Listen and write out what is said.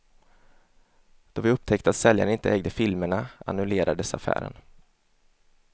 Då vi upptäckte att säljaren inte ägde filmerna annullerades affären.